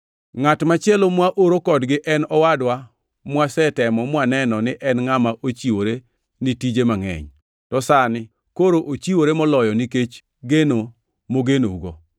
Ngʼat machielo mwaoro kodgi en owadwa mwasetemo mwaneno ni en ngʼama ochiwore ni tije mangʼeny, to sani koro ochiwore moloyo nikech gen mogenougo.